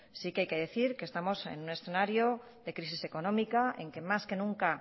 sí hay que decir que estamos en un escenario de crisis económica en que más que nunca